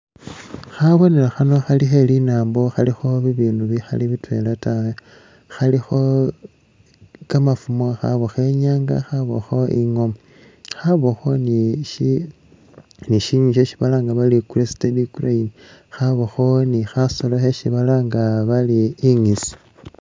Khabonelo khano khali khe linambo khalikho bi bindu bikhali bitwela ta, khalikho kamafumo khakakho inyanga khabakho ingoma, khabakho ni shi nywinywi shesi balanga bari created craine khabakho ni khasolo khesi balanga bari inysisi.